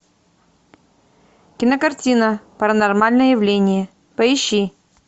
кинокартина паранормальное явление поищи